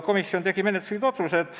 Komisjon tegi menetluslikud otsused.